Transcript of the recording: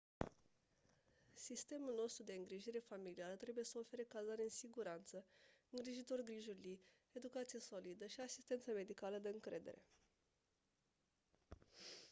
sistemul nostru de îngrijire familială trebuie să ofere cazare în siguranță îngrijitori grijulii educație solidă și asistență medicală de încredere